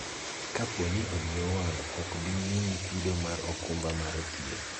kapo ni odi owang' ok bi miyi chudo mar okumba mar thieth